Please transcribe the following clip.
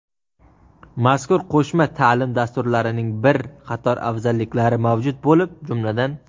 Mazkur qo‘shma taʼlim dasturlarining bir qator afzalliklari mavjud bo‘lib, jumladan:.